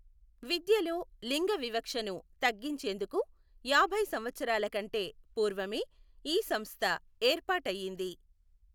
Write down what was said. విద్యలో లింగ వివక్షను తగ్గించేందుకు యాభై సంవత్సరాలకంటే పూర్వమే ఈ సంస్థ ఏర్పాటయ్యింది.